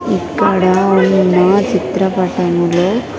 ఇక్కడ ఉన్న చిత్రపటములో.